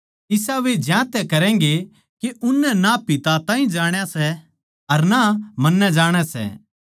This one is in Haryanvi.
इसा वे ज्यांतै करैंगें के उननै ना पिता ताहीं जाण्या सै अर ना मन्नै जाणै सै